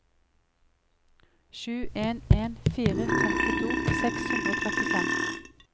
sju en en fire femtito seks hundre og trettifem